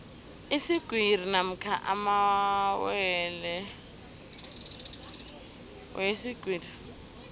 iswigiri namkha amalwelwe weswigiri